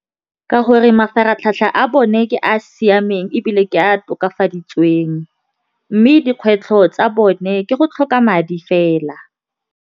Ka gore mafaratlhatlha a bone ke a a siameng ebile ke a tokafaditsweng mme dikgwetlho tsa bone ke go tlhoka madi fela.